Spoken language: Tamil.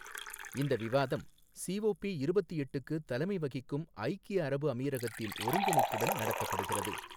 இந்த விவாதம், சிஓபி இருப்பத்து எட்டுக்கு தலைமை வகிக்கும் ஐக்கிய அரபு அமீரகத்தின் ஒருங்கிணைப்புடன் நடத்தப்படுகிறது.